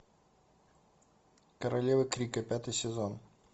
королева крика пятый сезон